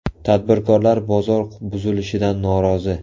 Tadbirkorlar bozor buzilishidan norozi .